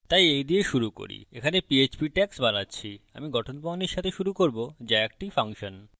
তাই এই দিয়ে শুরু করি আমি এখানে php tags বানাচ্ছি আমি গঠন প্রণালীর সাথে শুরু করব so একটি ফাংশন